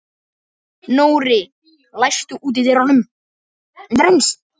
Nóri, læstu útidyrunum.